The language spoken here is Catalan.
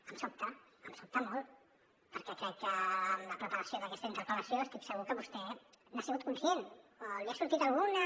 em sobta em sobta molt perquè crec que en la preparació d’aquesta interpel·lació estic segur que vostè n’ha sigut conscient o li ha sortit alguna